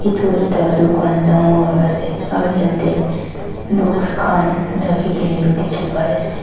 etu ekta tucan tangor ase aro yete books kan raki kina bi tiki bai ase.